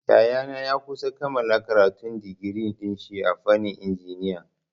Yayana ya kusa kammala karatun digiri dinshi a fannin injiniya.